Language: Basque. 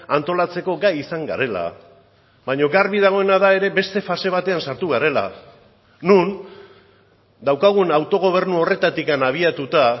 antolatzeko gai izan garela baina garbi dagoena da ere beste fase batean sartu garela non daukagun autogobernu horretatik abiatuta